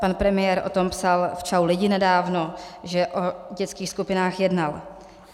Pan premiér o tom psal v Čau lidi nedávno, že o dětských skupinách jednal.